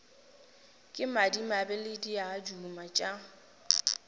ke madimo le diaduma tša